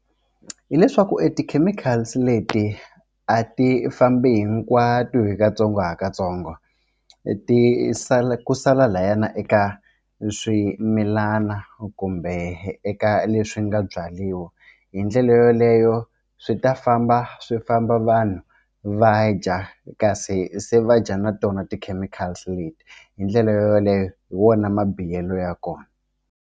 Hi leswaku e ti-chemicals leti a ti fambi hinkwato hi katsongokatsongo ti sala ku sala lahayana eka swimilana kumbe eka leswi nga byariwa hi ndlela yeleyo swi ta famba swi famba vanhu va dya kasi se va dya na tona ti-chemicals leti hi ndlela yoleyo hi wona mabihelo ya kona.